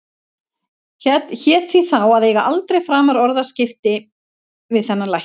Hét því þá að eiga aldrei framar orðaskipti við þennan lækni.